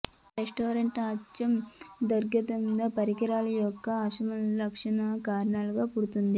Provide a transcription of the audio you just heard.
resistant అచ్చు దుర్గంధం పరికరాలు యొక్క అసమాన సంరక్షణ కారణంగా పుడుతుంది